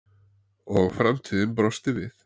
Og framtíðin brosti við.